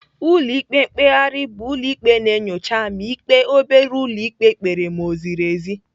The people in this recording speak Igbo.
Ụlọ ikpe mkpegharị bụ ụlọ ikpe na-enyocha ma ikpe obere ụlọ ikpe kpere ma o ziri ezi.